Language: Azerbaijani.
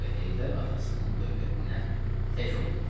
Və Heydər atasının dövlətinə tək oldu malik.